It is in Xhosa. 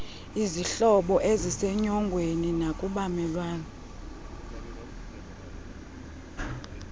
kwizihlobo eizsenyongweni nakubamelwane